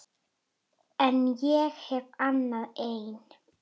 En ég hef hana enn.